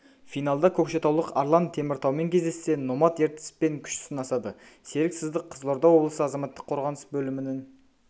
финалда көкшетаулық арлан теміртаумен кездессе номад ертіспен күш сынасады серік сыздық қызылорда облысы азаматтық қорғаныс бөлімінің